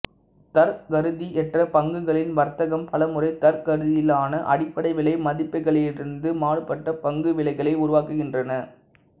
தர்க்கரீதியற்ற பங்குகளின் வர்த்தகம் பலமுறை தர்க்கரீதியிலான அடிப்படை விலை மதிப்பீடுகளிலிருந்து மாறுபட்ட பங்கு விலைகளை உருவாக்குகின்றன